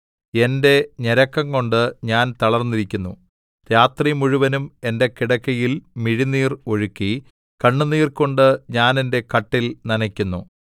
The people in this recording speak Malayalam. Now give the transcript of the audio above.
എന്റെ ഞരക്കംകൊണ്ട് ഞാൻ തളർന്നിരിക്കുന്നു രാത്രിമുഴുവനും എന്റെ കിടക്കയിൽ മിഴിനീർ ഒഴുക്കി കണ്ണുനീർകൊണ്ട് ഞാൻ എന്റെ കട്ടിൽ നനയ്ക്കുന്നു